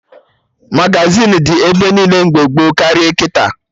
Magazịn dị ebe niile mgbe gboo karịa kịta